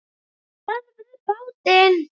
STÖÐVIÐ BÁTINN!